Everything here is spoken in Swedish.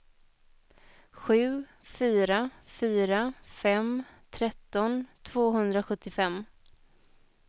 sju fyra fyra fem tretton tvåhundrasjuttiofem